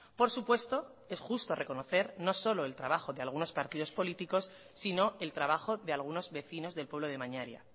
por supuesto es justo reconocer no solo el trabajo de algunos partidos políticos sino el trabajo de algunos vecinos del pueblo de mañaria